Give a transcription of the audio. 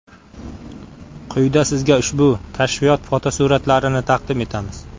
Quyida sizga ushbu kashfiyot fotosuratlarini taqdim etamiz.